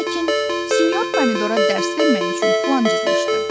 Lakin sinyor Pomidora dərs vermək üçün plan cızmışdı.